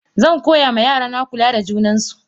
Zankoya ma yarana kula da junan su.